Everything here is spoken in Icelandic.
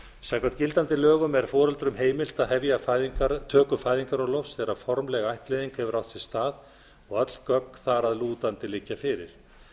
samkvæmt gildandi lögum er foreldrum heimilt að hefja töku fæðingarorlofs þegar formleg ættleiðing hefur átt sér stað og öll gögn þar að lútandi liggja fyrir